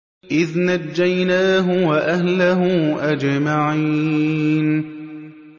إِذْ نَجَّيْنَاهُ وَأَهْلَهُ أَجْمَعِينَ